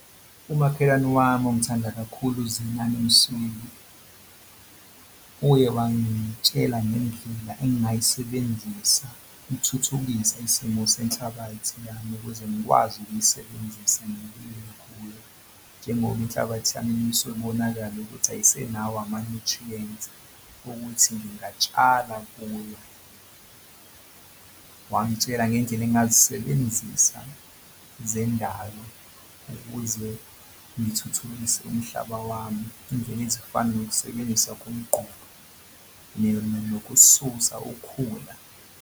Umakhelwane wami ongithanda kakhulu uZenani Msweli uye wangitshela ngendlela engingayisebenzisa ukuthuthukisa isimo senhlabathi yami ukuze ngikwazi ukuyisebenzisa ngokulima kuyo njengoba inhlabathi yami isuke ibonakale ukuthi ayisenayo ama-nutrients ukuthi ngingatshala kuyo. Wangitshela ngendlela engingazisebenzisa zendalo ukuze ngithuthukise umhlaba wami. Iy'ndlela ezifana nokusebenzisa komquba nokususa ukhula.